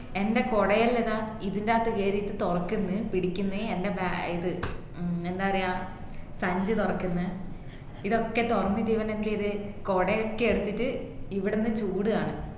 എന്റെ കൊടയല്ലത ഇതിന്റെഅത്ത് കേറീട്ട് തുറക്കുന്ന് പിടിക്ന്ന് എൻ്റെ ബേ ഏർ ഇത്എ ഏർ ന്താ പറയുവാ സഞ്ചി തൊറക്കുന്ന് ഇതൊക്കെ തുറന്നിട്ട് ഇവൻ എന്ത്ചെയ്തത് കൊടയൊക്കെ എടുത്തിട്ട് ഇവിടന്ന് ചൂടുകാണു